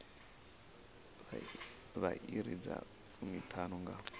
vha iri dza fumiṱhanu nga